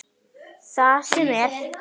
Það sem er.